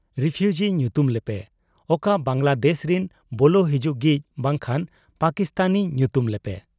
Refugee ᱧᱩᱛᱩᱢ ᱞᱮᱯᱮ ᱾ ᱚᱠᱟ ᱵᱟᱝᱞᱟᱫᱮᱥ ᱨᱤᱱ ᱵᱚᱞᱚ ᱦᱤᱡᱩᱜᱤᱡ ᱵᱟᱝᱠᱷᱟᱱ ᱯᱟᱠᱤᱥᱛᱟᱱᱤ ᱧᱩᱛᱩᱢ ᱞᱮᱯᱮ ᱾